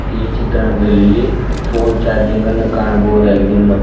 ಈ ಚಿತ್ರಣದಲ್ಲಿ phone charging ಅನ್ನು ಕಾಣಬಹುದಾಗಿದೆ ಮ್--